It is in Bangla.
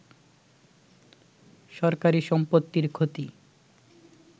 সরকারি সম্পত্তির ক্ষতি